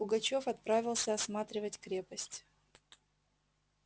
пугачёв отправился осматривать крепость